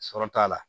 Sɔrɔ t'a la